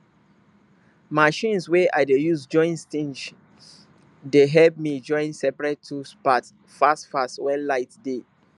machines wey i dey use join tings dey help me join seprate tools part fast fast wen light dey